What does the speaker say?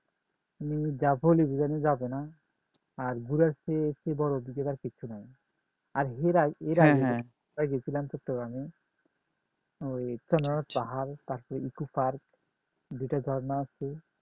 যাবে না আর ঘুরার চেয়ে এর চেয়ে বড় অভিজ্ঞতা আর কিছু নাই , এর গেছিলাম চট্টগ্রামে, ওই ইকো পার্ক দুইটা ঝর্ণা আছে